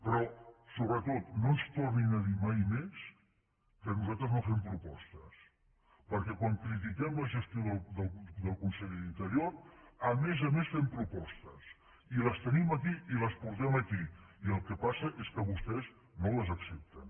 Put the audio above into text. però sobretot no ens tor·nin a dir mai més que nosaltres no fem propostes per·què quan critiquem la gestió del conseller d’interior a més a més fem propostes i les tenim aquí i les portem aquí i el que passa és que vostès no les accepten